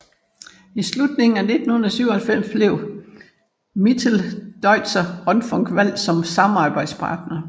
I slutningen af 1997 blev Mitteldeutscher Rundfunk valgt som samarbejdspartner